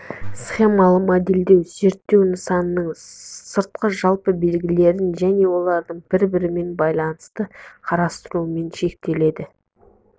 схемалы модельдеу зерттеу нысанының сыртқы жалпы белгілерін және олардың бір-бірімен байланысын қарастырумен шектеледі